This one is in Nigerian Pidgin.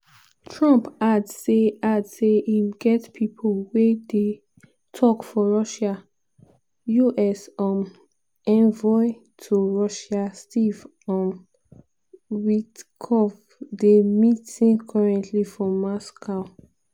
trump add say add say im get "pipo wey dey tok for russia" - us um envoy to russia steve um witkoff dey meeting currently for moscow.